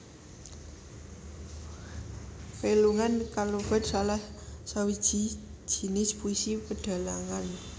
Pelungan kalebet salah sawiji jinis puisi pedhalangan